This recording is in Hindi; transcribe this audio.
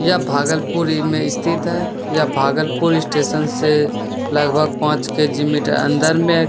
यह भागलपुर में स्थित है | यह भागलपुर स्टेशन से लगभग पांच किलोमीटर अंदर में है |